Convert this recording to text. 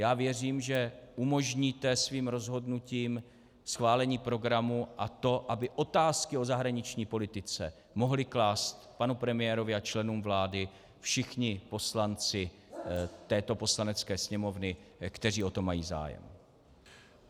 Já věřím, že umožníte svým rozhodnutím schválení programu a to, aby otázky o zahraniční politice mohli klást panu premiérovi a členům vlády všichni poslanci této Poslanecké sněmovny, kteří o to mají zájem.